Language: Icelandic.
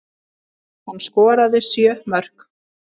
Hann skoraði sjö mörk.